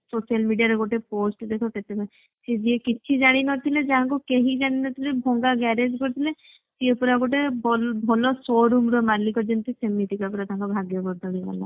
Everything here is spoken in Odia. social media ଗୋଟେ post ଦେଖ ସେ ଯିଏ କିଛି ଜାଣିନଥିଲେ ଯାହାଙ୍କୁ କେହି ଜାଣିନଥିଲେ ଭଙ୍ଗା garage କରିଥିଲେ ସିଏ ପୁରା ଗୋଟେ ଭଲ ଭଲ show room ର ମାଲିକ ଯେମତି ସେମିତି ପୁରା ପୁରା ତାଙ୍କ ଭାଗ୍ୟ ବଦଳିଗଲା